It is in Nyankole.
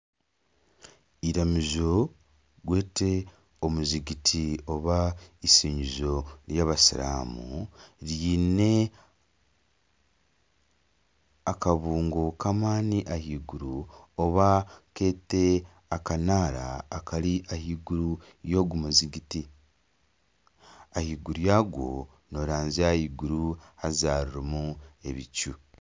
Eiramizo tugwete omuzigiti oba ishingizo ry'Abasiramu ryine akabungo k'amaani ahaiguru oba kete akanara akari ahaiguru ya ogu muzigiti ahaiguru yagwo nooranzya Iguru haza rirumu ebicu.